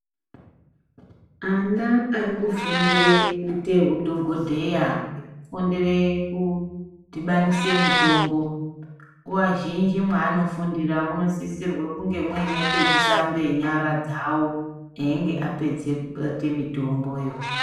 Ana arikufundire kuite udhokodheya ,kufundire kudhibanise mitombo nguwa zhinji mwaanofundira munosisirwe kunge mune pekusambe nyara dzawo einge apedze kubata mitomboyo.